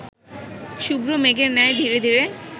শুভ্র মেঘের ন্যায় ধীরে ধীরে